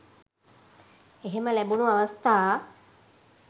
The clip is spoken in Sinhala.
එහෙම ලැබුණු අවස්ථා